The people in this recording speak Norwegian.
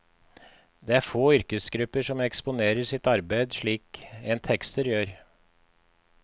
Det er få yrkesgrupper som eksponerer sitt arbeid slik en tekster gjør.